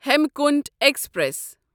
Hemkunt express